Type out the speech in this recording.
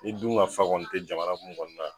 Ne dun ka fa kɔni te jamana mun kɔni na